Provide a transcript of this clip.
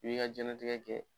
I b'i ka jɛnatigɛ kɛ